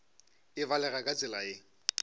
e balega ka tsela ye